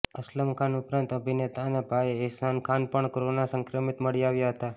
અસલમ ખાન ઉપરાંત અભિનેતા અને ભાઈ અહેસાન ખાન પણ કોરોના સંક્રમિત મળી આવ્યા હતા